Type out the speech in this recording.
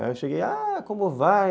Aí eu cheguei, ah, como vai?